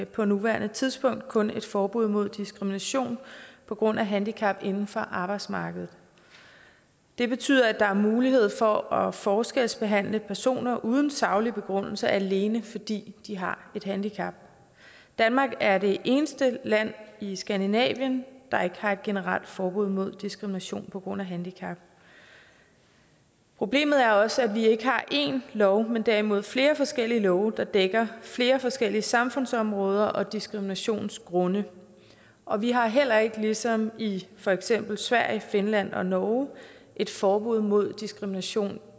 på nuværende tidspunkt kun et forbud mod diskrimination på grund af handicap inden for arbejdsmarkedet det betyder at der er mulighed for at forskelsbehandle personer uden saglig begrundelse alene fordi de har et handicap danmark er det eneste land i skandinavien der ikke har et generelt forbud mod diskrimination på grund af handicap problemet er også at vi ikke har én lov men derimod flere forskellige love der dækker flere forskellige samfundsområder og diskriminationsgrunde og vi har heller ikke ligesom i for eksempel sverige finland og norge et forbud mod diskrimination